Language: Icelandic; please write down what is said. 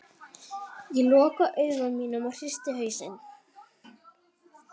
Ég loka augunum og hristi hausinn.